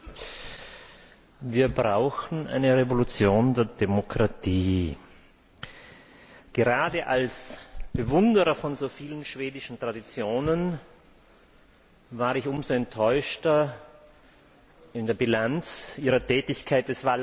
Herr Präsident! Wir brauchen eine Revolution der Demokratie. Gerade als Bewunderer von so vielen schwedischen Traditionen war ich umso enttäuschter von der Bilanz ihrer Tätigkeit.